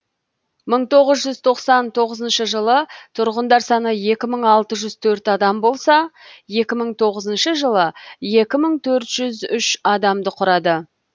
мың тоғыз жүз тоқсан тоғызыншы жылы тұрғындар саны екі мың алты жүз төрт адам болса екі мың тоғызыншы жылы екі мың төрт жүз үш адамды құрады